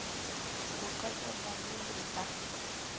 ho qetela le le ka